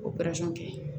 O kɛ